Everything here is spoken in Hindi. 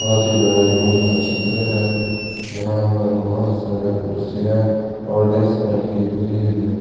बहोत ही बड़े रूम का चित्र है जहां पर बहोत सारे कुर्सियां और डेस्क रखी हुई है।